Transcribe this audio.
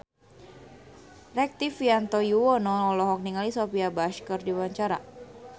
Rektivianto Yoewono olohok ningali Sophia Bush keur diwawancara